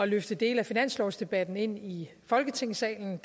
løfte dele af finanslovsdebatten ind i folketingssalen